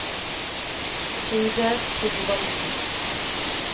Trude Thorvaldsen